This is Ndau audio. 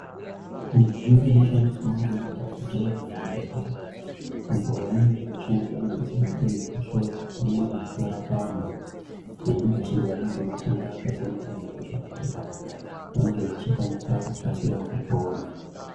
Midziyo inoshandiswawo ngemadhogodheya muzvibhedhlera apo vanenge vechishandisa midziyo iyi kuhloya pamwe nekutorapa vantu vanenge vechirwara ngematenda akasiyana-siyana kuti vantu ava vange vechikwanisa kukasira kupona.